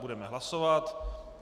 Budeme hlasovat.